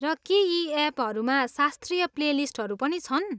र के यी एपहरूमा शास्त्रीय प्लेलिस्टहरू पनि छन्?